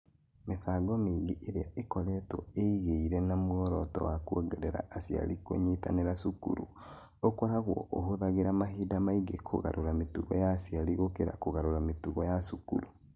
Mĩbango mĩingĩ ĩrĩa ĩkoragwo ĩigĩire na muoroto wa kwongerera aciari kũnyitanĩra cukuru, ũkoragwo ũhũthagĩra mahinda maingĩ kũgarũra mĩtugo ya aciari gũkĩra kũgarũra mĩtugo ya cukuru.